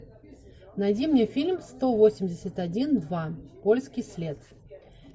найди мне фильм сто восемьдесят один два польский след